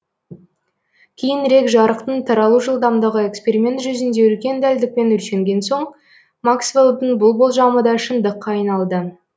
кейінірек жарықтың таралу жылдамдығы эксперимент жүзінде үлкен дәлдікпен өлшенген соң максвеллдің бұл болжамы да шындықка айналды